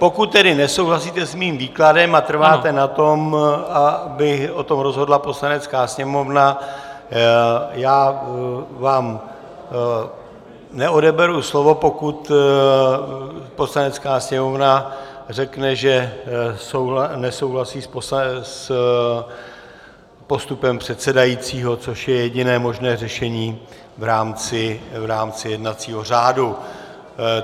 Pokud tedy nesouhlasíte s mým výkladem a trváte na tom, aby o tom rozhodla Poslanecká sněmovna, já vám neodeberu slovo, pokud Poslanecká sněmovna řekne, že nesouhlasí s postupem předsedajícího, což je jediné možné řešení v rámci jednacího řádu.